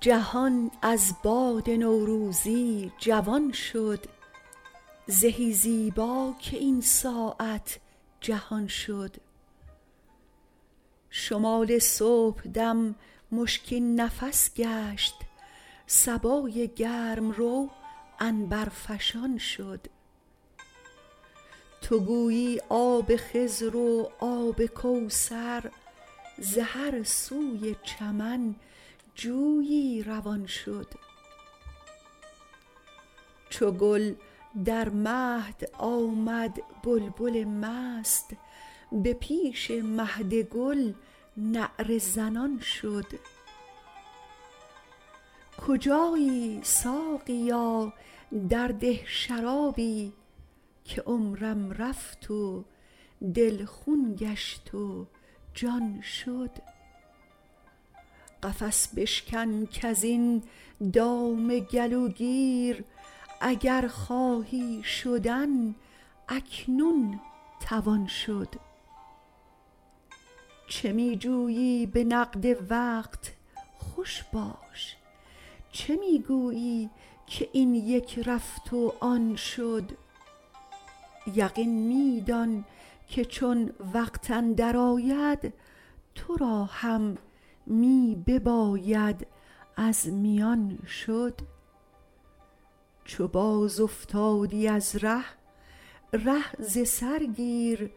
جهان از باد نوروزی جوان شد زهی زیبا که این ساعت جهان شد شمال صبحدم مشکین نفس گشت صبای گرم رو عنبرفشان شد تو گویی آب خضر و آب کوثر ز هر سوی چمن جویی روان شد چو گل در مهد آمد بلبل مست به پیش مهد گل نعره زنان شد کجایی ساقیا درده شرابی که عمرم رفت و دل خون گشت و جان شد قفس بشکن کزین دام گلوگیر اگر خواهی شدن اکنون توان شد چه می جویی به نقد وقت خوش باش چه می گویی که این یک رفت و آن شد یقین می دان که چون وقت اندر آید تو را هم می بباید از میان شد چو باز افتادی از ره ره ز سر گیر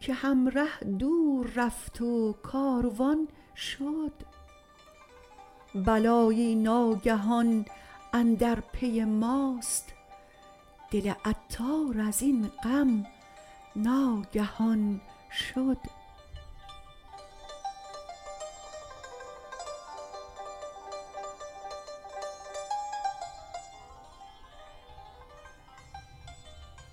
که همره دور رفت و کاروان شد بلایی ناگهان اندر پی ماست دل عطار ازین غم ناگهان شد